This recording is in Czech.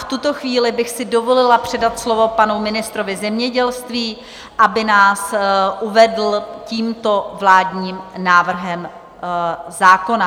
V tuto chvíli bych si dovolila předat slovo panu ministrovi zemědělství, aby nás uvedl tímto vládním návrhem zákona.